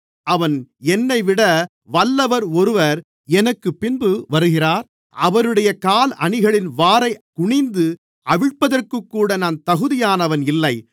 அவன் என்னைவிட வல்லவர் ஒருவர் எனக்குப்பின்பு வருகிறார் அவருடைய காலணிகளின் வாரைக் குனிந்து அவிழ்ப்பதற்குக்கூட நான் தகுதியானவன் இல்லை